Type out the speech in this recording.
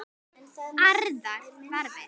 Aðrar þarfir.